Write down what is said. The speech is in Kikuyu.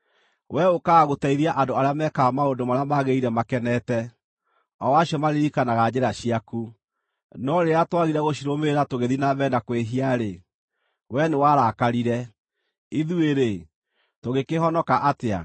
Wee ũũkaga gũteithia andũ arĩa mekaga maũndũ marĩa magĩrĩire makenete, o acio maririkanaga njĩra ciaku. No rĩrĩa twagire gũcirũmĩrĩra tũgĩthiĩ na mbere na kwĩhia-rĩ, wee nĩwarakarire. Ithuĩ-rĩ, tũngĩkĩhonoka atĩa?